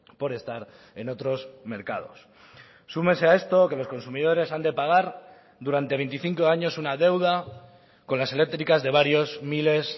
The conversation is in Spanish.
por estar en otros mercados súmese a esto que los consumidores han de pagar durante veinticinco años una deuda con las eléctricas de varios miles